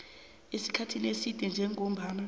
esikhathini eside njengombana